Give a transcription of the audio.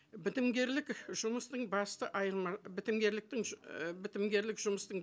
бітімгерлік жұмыстың басты бітімгерліктің і бітімгерлік жұмыстың